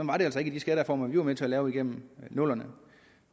var det altså ikke i de skattereformer vi var med til at lave igennem nullerne